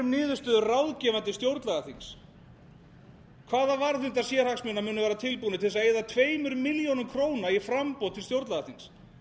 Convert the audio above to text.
niðurstöðu ráðgefandi stjórnlagaþings hvaða varðhundar sérhagsmuna munu vera tilbúnir til þess að eyða tveimur milljónum króna í framboð til stjórnlagaþings